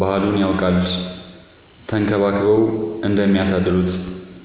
ባህሉን ያውቃል ተንከባክበው እንደሚያሳድሩት።